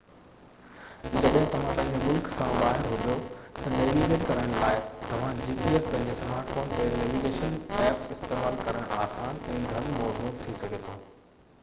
جڏهن توهان پنهنجي ملڪ سان ٻاهر هجو تہ نيويگيٽ ڪرڻ لاءِ توهان پنهنجي سمارٽ فون تي gps نيويگيشن ائپس استعمال ڪرڻ آسان ۽ گهڻو موزون ٿي سگهي ٿو